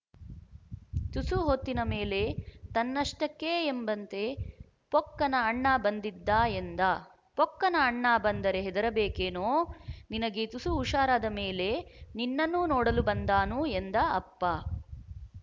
ತುಸು ಹೊತ್ತಿನ ಮೇಲೆ ತನ್ನಷ್ಟಕ್ಕೇ ಎಂಬಂತೆ ಪೊಕ್ಕನ ಅಣ್ಣ ಬಂದಿದ್ದ ಎಂದ ಪೊಕ್ಕನ ಅಣ್ಣ ಬಂದರೆ ಹೆದರಬೇಕೇನೊ ನಿನಗೆ ತುಸು ಹುಷಾರಾದ ಮೇಲೆ ನಿನ್ನನ್ನೂ ನೋಡಲು ಬಂದಾನು ಎಂದ ಅಪ್ಪ